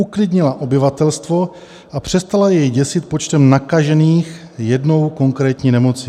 Uklidnila obyvatelstvo a přestala je děsit počtem nakažených jednou konkrétní nemocí.